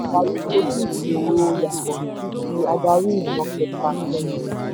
adarí kojú ìṣòro yàtọ̀ sí ti adarí ìran kẹta/kẹrin.